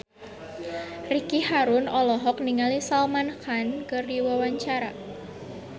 Ricky Harun olohok ningali Salman Khan keur diwawancara